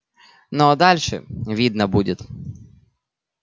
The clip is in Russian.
ну а дальше видно будет